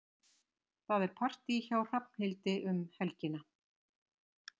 Það er partí hjá Hrafnhildi um helgina.